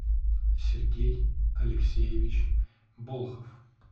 сергей алексеевич болхов